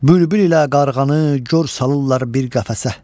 Bülbül ilə qarğanı gör salırlar bir qəfəsə.